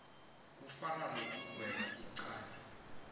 kufana nokugweba icala